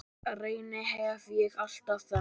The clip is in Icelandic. Reyni hef ég alltaf þekkt.